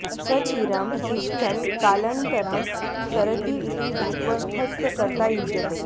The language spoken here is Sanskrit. स चिरं तिष्ठन् कालन्तरं सरति इति धात्वर्थस्य कर्ता युज्यते